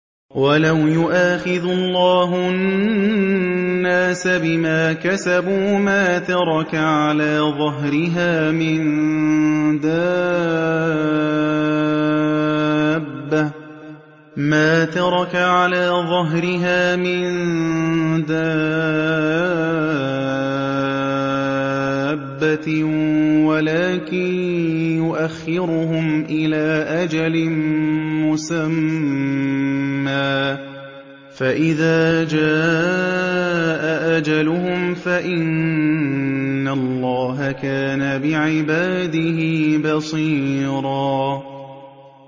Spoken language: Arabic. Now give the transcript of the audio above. وَلَوْ يُؤَاخِذُ اللَّهُ النَّاسَ بِمَا كَسَبُوا مَا تَرَكَ عَلَىٰ ظَهْرِهَا مِن دَابَّةٍ وَلَٰكِن يُؤَخِّرُهُمْ إِلَىٰ أَجَلٍ مُّسَمًّى ۖ فَإِذَا جَاءَ أَجَلُهُمْ فَإِنَّ اللَّهَ كَانَ بِعِبَادِهِ بَصِيرًا